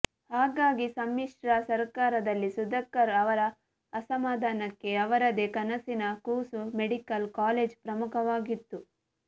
ಹಾಗಾಗಿ ಸಮ್ಮಿಶ್ರ ಸರ್ಕಾರದಲ್ಲಿ ಸುಧಾಕರ್ ಅವರ ಅಸಮಾಧಾನಕ್ಕೆ ಅವರದೇ ಕನಸಿನ ಕೂಸು ಮೆಡಿಕಲ್ ಕಾಲೇಜು ಪ್ರಮುಖ ವಾಗಿತ್ತು